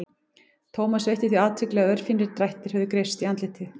Thomas veitti því athygli að örfínir drættir höfðu greypst í andlitið.